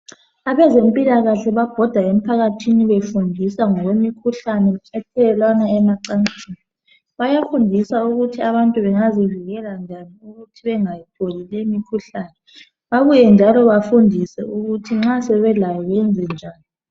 abezempilakahle babhoda emphakathini befundisa ngokwemikhuhlane ethelelwana emacansini bayafundiswa ukuthi abantu bangazivikela njani ukuthi bengatholi leyi mikhuhlane babuye njalo bafundiswe ukuthi nxa sebelayo benze njani